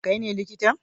Kai ne likitan?